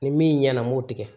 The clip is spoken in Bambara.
Ni min ɲɛna n b'o tigɛ